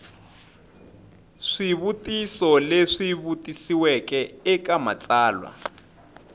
swivutiso leswi vutisiweke eka matsalwa